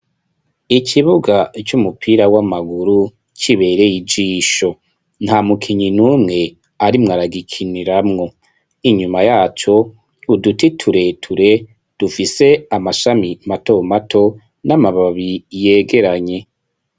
Ikibuga c'umupira w'amaguru kibereye ijisho nta mukinyi n'umwe arimwaragikiniramwo .Inyuma yaco uduti tureture dufise amashami mato mato n'amababi yegeranye.